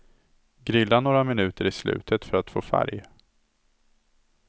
Grilla några minuter i slutet för att få färg.